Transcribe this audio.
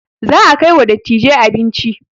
Za a kai wa dattijai abinci